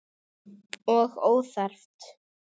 Og óþarft!